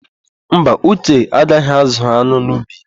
Mba, Uche agaghị ázụ̀ an̄ụ n'ubi ya.